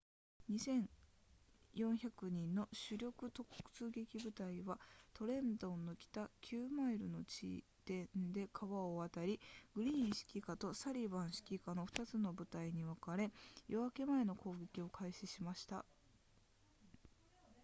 2,400 人の主力突撃部隊はトレントンの北9マイルの地点で川を渡りグリーン指揮下とサリヴァン指揮下の2つの部隊に分かれ夜明け前の攻撃を開始しました